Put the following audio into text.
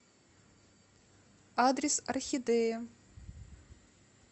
адрес орхидея